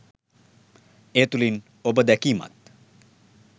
ඒ තුලින් ඔබ දැකීමත්